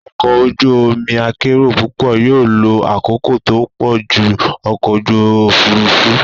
Ọkọ̀ ojú omi akérò púpọ̀ yóò lo àkókò tó pọ̀ ju ọkọ̀ ojú òfurufú.